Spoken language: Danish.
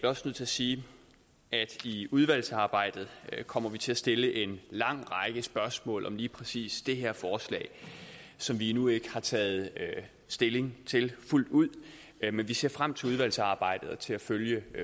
også nødt til at sige at i udvalgsarbejdet kommer vi til at stille en lang række spørgsmål om lige præcis det her forslag som vi endnu ikke har taget stilling til fuldt ud men vi ser frem til udvalgsarbejdet og til at følge